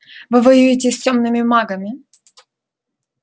вы воюете с тёмными магами